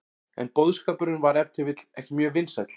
En boðskapurinn var ef til vill ekki mjög vinsæll.